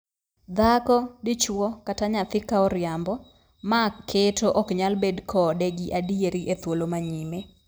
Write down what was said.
Dhako, dichwo, kata nyathi ka oriambo, maa keto ok nyal bed kode gi adieri e thuolo ma nyime.